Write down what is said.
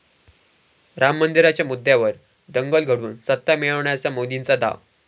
राम मंदिराच्या मुद्द्यावर दंगल घडवून सत्ता मिळवण्याचा मोदींचा डाव